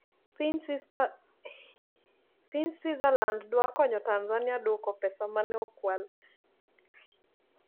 Piny Switzerland dwa konyo Tanzania duoko pesa ma ne okwal